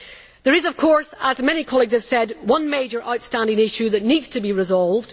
There is of course as many colleagues have said one major outstanding issue that needs to be resolved.